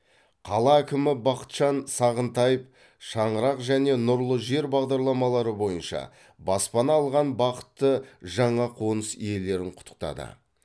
қала әкімі бақытжан сағынтаев шаңырақ және нұрлы жер бағдарламалары бойынша баспана алған бақытты жаңа қоныс иелерін құттықтады